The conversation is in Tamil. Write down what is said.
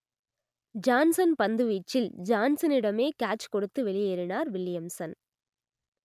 ஜான்சன் பந்துவீச்சில் ஜான்சனிடமே கேட்ச் கொடுத்து வெளியேறினார் வில்லியம்சன்